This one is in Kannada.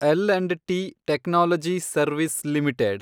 L and T technology services limited